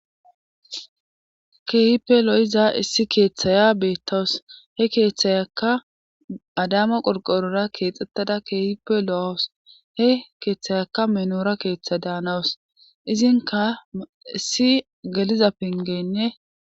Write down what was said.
keehipe lo7iza issi keeththaya beettawus he keeththayaka adama qorqorora keexxettada kehipe lo7os he keeththayaka menoora keeththa daanawus izinka issi galiza pingeynne